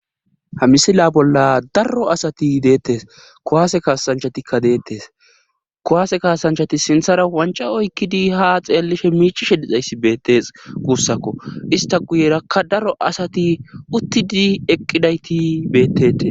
ha misila bolla daro asati deettes kowaase kaasanchatikka deettes kowaase kaasanchati sinthara wanca oykkidi ha xeellishe miichi she dixayssi beettes guussakko ista guyerakka daro asati uttidi eqqidayti beettete